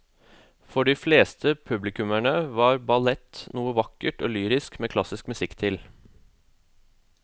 For de fleste publikummere er ballett noe vakkert og lyrisk med klassisk musikk til.